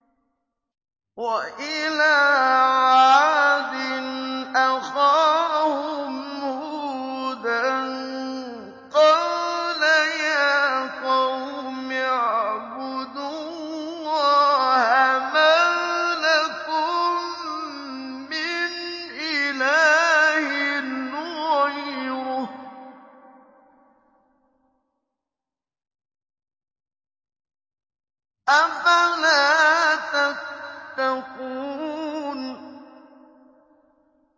۞ وَإِلَىٰ عَادٍ أَخَاهُمْ هُودًا ۗ قَالَ يَا قَوْمِ اعْبُدُوا اللَّهَ مَا لَكُم مِّنْ إِلَٰهٍ غَيْرُهُ ۚ أَفَلَا تَتَّقُونَ